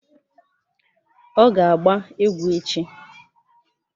Ọ ga-agba egwu echi?